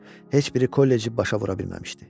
Heç biri kolleci başa vura bilməmişdi.